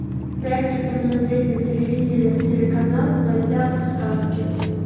дай мне посмотреть на телевизоре телеканал в гостях у сказки